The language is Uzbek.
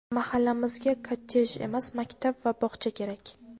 "Mahallamizga kottedj emas, maktab va bog‘cha kerak!".